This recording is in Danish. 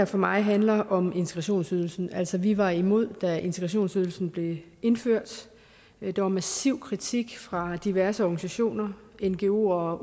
for mig handler her om integrationsydelsen altså vi var imod da integrationsydelsen blev indført der var massiv kritik fra diverse organisationer ngoer